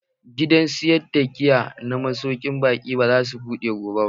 Gidan sayar da giya na masaukin baƙi ba za su buɗe gobe ba.